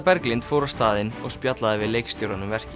Berglind fór á staðinn og spjallaði við leikstjórann um verkið